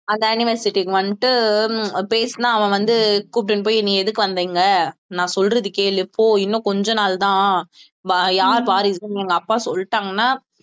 அந்த anniversary க்கு வந்துட்டு உம் பேசுனா அவன் வந்து கூட்டிட்டுப் போய் நீ எதுக்கு வந்த இங்கே நான் சொல்றது கேளு போ இன்னும் கொஞ்ச நாள் தான் வா~ யார் வாரிசுன்னு எங்க அப்பா சொல்லிட்டாங்கன்னா